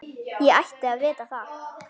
Ég ætti að vita það.